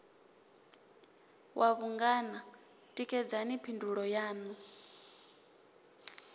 wa vhungana tikedzani phindulo yaṋu